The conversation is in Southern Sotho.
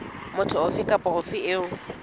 motho ofe kapa ofe eo